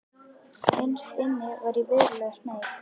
Innst inni var ég verulega smeyk.